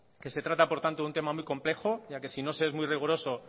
que se trata por lo tanto de un tema muy complejo ya que si no se es muy riguroso